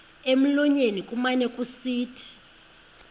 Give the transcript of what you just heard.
emlonyeni kumane kusithi